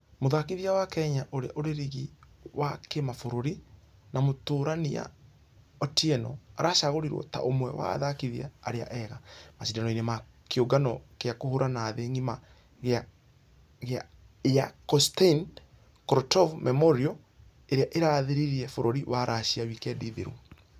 Mũthakithia wa kenya ũrĩa ũrĩrigi wa kĩmabũrũri na mũtũrania otieno aracagũrirwo ta ũmwe wa athakithia arĩa ega. Mashidano-inĩ ma kĩũngano gĩa kũhũrana thĩ ngima gĩa ya konstain korotkov memorial Ĩrĩa ĩrathirire bũrũri wa russia wikendi thiru.